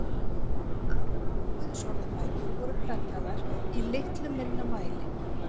Aðrar guðsorðabækur voru prentaðar í litlu minna mæli.